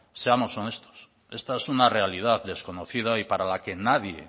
seamos honestos esta es una realidad desconocida y para la que nadie